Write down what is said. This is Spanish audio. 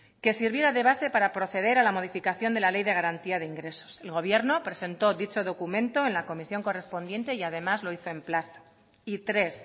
que sirviera de base para proceder a la modificación de la ley de garantía de ingresos el gobierno presentó dicho documento en la comisión correspondiente y además lo hizo en plazo y tres